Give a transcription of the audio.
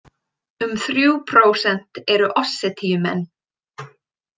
Um þrjú prósent eru Ossetíumenn.